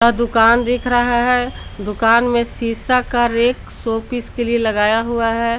दुकान दिख रहा है दुकान में सीसा का रेक शोपीस के लिए लगाया हुआ है।